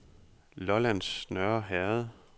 Lollands Nørreherred